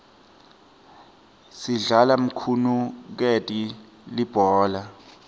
sidlala mthunukeni libhola